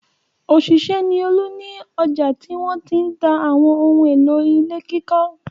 Òṣìṣẹ́ ni Olú ní ọjà tí wọ́n ti ń ta àwọn ohun-èlò ilé kíkọ́.